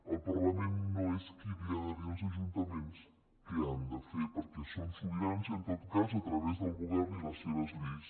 el parlament no és qui ha de dir als ajuntaments què han de fer perquè són sobirans i en tot cas a través del govern i les seves lleis